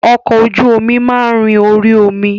Ọkọ̀ ojú omi máa ń rìn orí omi